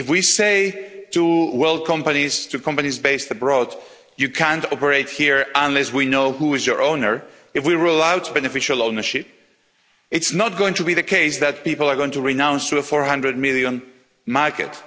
If we say to world companies, to companies based abroad, you can't operate here unless we know who is your owner, if we rule out beneficial ownership, it is not going to be the case that people are going to renounce a 400 million market.